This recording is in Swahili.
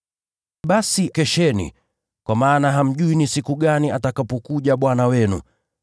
“Basi kesheni, kwa sababu hamjui ni siku gani atakapokuja Bwana wenu.